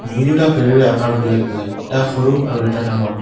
দুয়োটা ফেৰী ৰে আকাৰ বেলেগ বেলেগ এটা সৰু আৰু এটা ডাঙৰ।